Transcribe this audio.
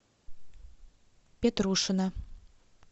петрушина